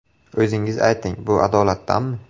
O‘zingiz ayting, bu adolatdanmi?